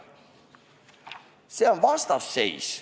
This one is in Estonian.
See on vastasseis.